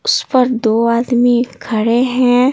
उस पर दो आदमी खड़े हैं।